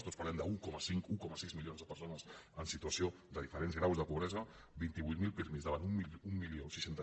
tots parlem d’un coma cinc un coma sis milions de persones en situació de diferents graus de pobresa vint vuit mil pirmi davant d’mil sis cents